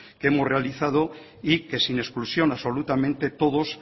que hemos realizado y que sin exclusión absolutamente todos